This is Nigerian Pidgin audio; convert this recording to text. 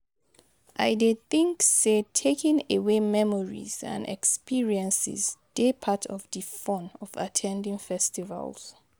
I dey think say taking away memories and experiences dey part of di fun of at ten ding festivals.